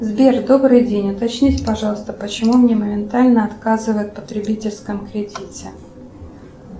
сбер добрый день уточните пожалуйста почему мне моментально отказывают в потребительском кредите